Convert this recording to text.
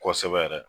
Kosɛbɛ yɛrɛ